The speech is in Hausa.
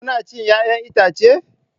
Kuna cin 'ya'yan itace?